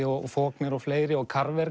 og Faulkner og fleiri og